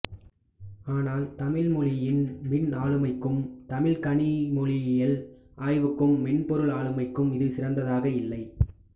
ஆனால் தமிழ் மொழியின் மின் ஆளுமைக்கும் தமிழ்கணிமொழியியல் ஆய்வுக்கும் மென்பொருள் ஆளுமைக்கும் இது சிறந்ததாக இல்லை